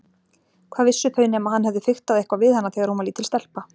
Hvað vissu þau nema hann hefði fiktað eitthvað við hana þegar hún var lítil stelpa.